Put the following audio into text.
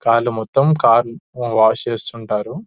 కార్ల మొత్తం కార్లు వాష్ చేస్తుంటారు --